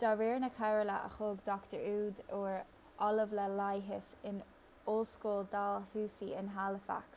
de réir na comhairle a thug dr ehud ur ollamh le leigheas in ollscoil dalhousie in halifax